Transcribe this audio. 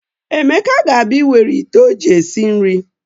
Emeka ga-abịa ịwere ite o ji esi nri.